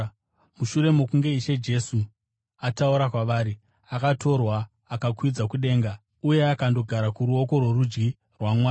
Mushure mokunge Ishe Jesu ataura kwavari, akatorwa akakwidzwa kudenga uye akandogara kuruoko rworudyi rwaMwari.